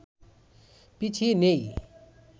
পিছিয়ে নেই